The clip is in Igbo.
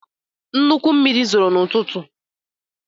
Nnukwu mmiri zoro n’ụtụtụ.